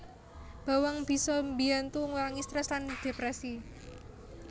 Bawang bisa mbiyantu ngurangi strèss lan dhèprèsi